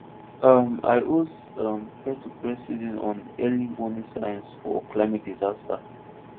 um i host um peertopeer session on early warning signs for climate disaster